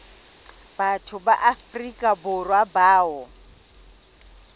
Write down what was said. batho ba afrika borwa bao